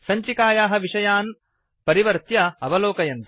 सञ्चिकायाः विषयान् परिवर्त्य अवलोकयन्तु